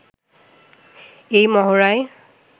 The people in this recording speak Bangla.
এই মহড়ায়